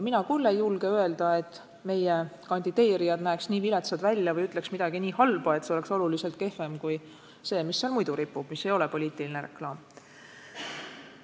Mina küll ei julge öelda, et meie kandideerijad näevad nii viletsad välja või ütlevad midagi nii halba, et see oleks oluliselt kehvem kui see mittepoliitiline reklaam, mis seal muidu ripub.